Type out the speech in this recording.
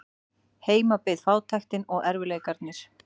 Heima beið fátæktin og erfiðleikarnir.